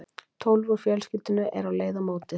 Tólf úr fjölskyldunni eru á leið á mótið.